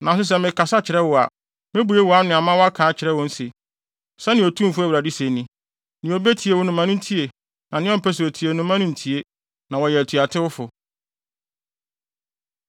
Nanso sɛ mekasa kyerɛ wo a, mebue wʼano ama woaka akyerɛ wɔn se, ‘Sɛnea Otumfo Awurade se ni!’ Nea obetie no ma no ntie, na nea ɔmpɛ sɛ otie no mma no ntie; na wɔyɛ atuatewfo.